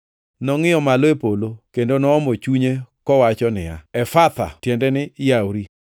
Nongʼiyo malo e polo, kendo noomo chunye kowacho niya, \+wj “Efatha!”\+wj* (tiende ni, “Yawri!”)